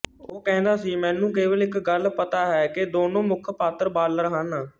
ਉਹ ਕਹਿੰਦਾ ਸੀ ਮੈਨੂੰ ਕੇਵਲ ਇੱਕ ਗੱਲ ਪਤਾ ਹੈ ਕਿ ਦੋਨੋਂ ਮੁੱਖ ਪਾਤਰ ਬਾਲਰ ਹਨ